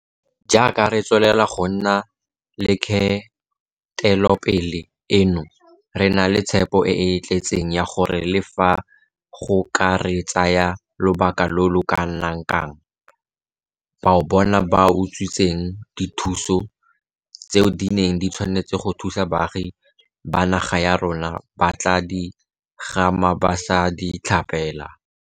Jaaka re tswelela go nna le kgatelopele eno, re na le tshepo e e tletseng ya gore le fa go ka re tsaya lobaka lo lo kanakang, bao bona ba utswitseng dithuso tseo di neng di tshwanetse go thusa baagi ba naga ya rona ba tla di gama ba sa di tlhapela.